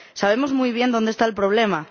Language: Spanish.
Sabemos muy bien dónde está el problema.